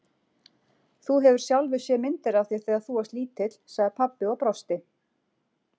Þú hefur sjálfur séð myndir af þér þegar þú varst lítill, sagði pabbi og brosti.